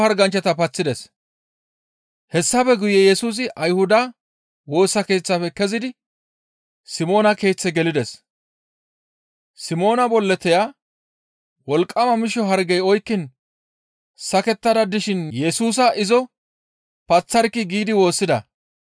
Hessafe guye Yesusi Ayhuda Woosa Keeththafe kezidi Simoona keeththe gelides. Simoona bolloteya, «Wolqqama misho hargey oykkiin sakettada dishin Yesusa izo paththarkkii!» giidi woossida.